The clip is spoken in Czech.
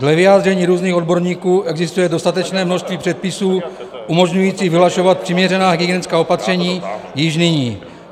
Dle vyjádření různých odborníků existuje dostatečné množství předpisů umožňujících vyhlašovat přiměřená hygienická opatření již nyní.